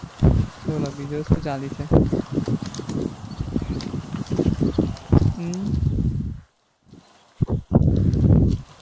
બોલો બીજું શું ચાલે છે? હમ